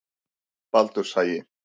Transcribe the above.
Baldurshagi